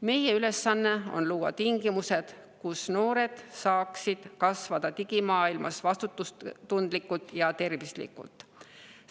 Meie ülesanne on luua tingimused, et noored saaksid digimaailmas kasvada vastutustundlikeks ja terveteks.